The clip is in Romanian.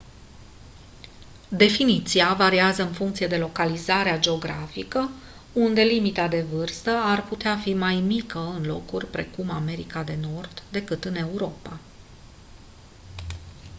definiția variază în funcție de localizarea geografică unde limita de vârstă ar putea fi mai mică în locuri precum america de nord decât în europa